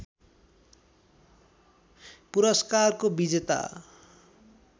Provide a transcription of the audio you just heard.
पुरस्कारको विजेता